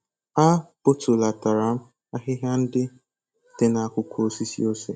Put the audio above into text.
A bọtulatara m ahịhịa ndị dị n'akụkụ osisi ose.